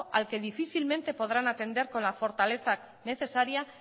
al que difícilmente podrán atender con la fortaleza necesaria